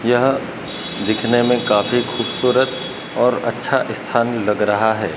यह दिखने में काफी खूबसूरत और अच्छा इस्थान लग रहा है।